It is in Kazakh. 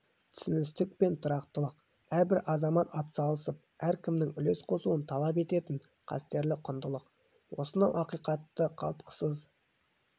түсіністік пен тұрақтылық әрбір азамат атсалысып әркімнің үлес қосуын талап ететін қастерлі құндылық осынау ақиқатты қалтқысыз